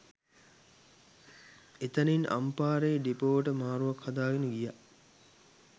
එතැනින් අම්පාරේ ඩිපෝවට මාරුවක් හදාගෙන ගියා